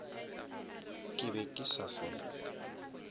ke be ke sa se